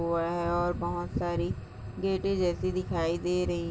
वह और बहुत सारी गेटे जैसी दिखाई दे रही--